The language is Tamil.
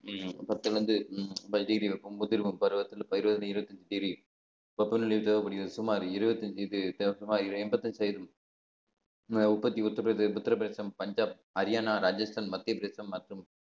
பத்திலேருந்து தேவைப்படுகிறது சுமார் இருபத்தி அஞ்சு இது எண்பத்தி ஐந்து உற்பத்தி உத்திரபிரதேசம் பஞ்சாப் ஹரியானா ராஜஸ்தான் மத்திய பிரதேசம் மற்றும்